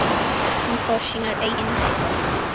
Hann fór sínar eigin leiðir.